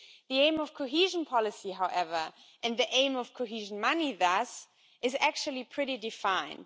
The aim of cohesion policy however, and the aim of cohesion money thus, is actually pretty well defined.